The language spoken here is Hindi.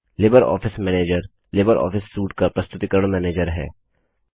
Libre office manager LibreOffice suite का प्रस्तुतिकरण मैनेजर है